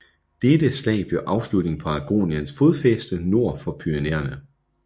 Dette slag blev afslutningen på Aragoniens fodfæste nord for Pyrenæerne